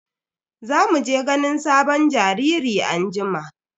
Za mu je ganin sabon jariri anjima.